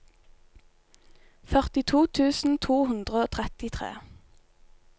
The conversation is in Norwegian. førtito tusen to hundre og trettitre